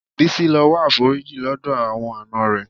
Bísí lọ wá àforíjì lọ́dọ̀ àwọn àna rẹ̀.